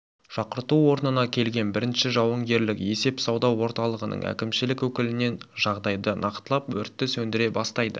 шақырту орнына келген бірінші жауынгерлік есеп сауда орталығының әкімшілік өкілінен жағдайды нақтылап өртті сөндіре бастайды